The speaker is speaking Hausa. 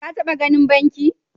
Ka taba ganin banki?